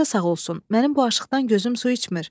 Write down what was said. Paşa sağ olsun, mənim bu aşiqdan gözüm su içmir.